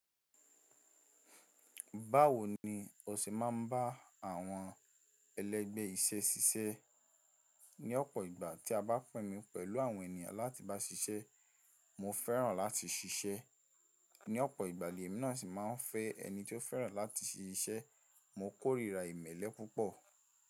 Báwo ni o ṣe máa ń bá àwọn ẹlẹ́gbẹ́ iṣẹ́ ṣiṣẹ́? Ní ọ̀pọ̀ ìgbà tí a bá pè mi pẹ̀lú àwọn ènìyàn láti bá ṣiṣẹ́, mo fẹ́ràn láti ṣiṣẹ́. Ní ọ̀pọ̀ ìgbà lèmi náà sì máa ń fẹ́ ẹni tí ó fẹ́ràn láti ṣiṣẹ́. Mo kórìíra ìmẹ́lẹ́ púpọ̀.